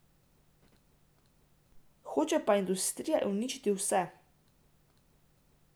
Hoče pa industrija uničit vse.